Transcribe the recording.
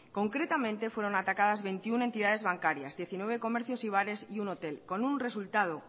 concretamente fueron atacadas veintiuno entidades bancarias diecinueve comercios y bares y un hotel con un resultado